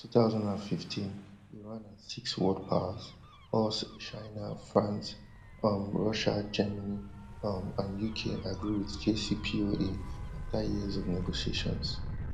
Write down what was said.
for two thousand and fifteen iran and six world powers us china france um russia germany um and uk agree wit jcpoa afta years of negotiations